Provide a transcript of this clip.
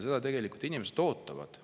Seda tegelikult inimesed ootavad.